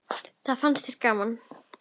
Það fannst þér gaman.